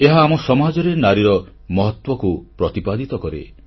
ଏହା ଆମ ସମାଜରେ ନାରୀର ମହତ୍ୱକୁ ପ୍ରତିପାଦିତ କରେ